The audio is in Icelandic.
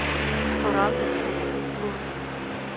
Fór alveg út af sporinu!